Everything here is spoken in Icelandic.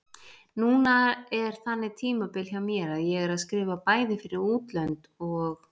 Núna er þannig tímabil hjá mér að ég er að skrifa bæði fyrir útlönd og